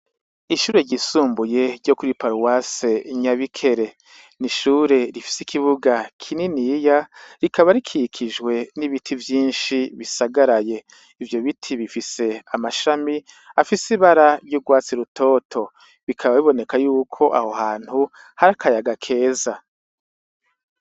Ishure ry'isumbuye ryo kuri paruwase i Nyabikere, n'ishure rifise ikibuga kininiya rikaba rikikijwe nibiti vyinshi bisagaraye. Ivyo biti bifise amashami afise ibara ry'urwatsi rutoro. Bikaba bibonekako yuko aho hantu hari akayaga keza.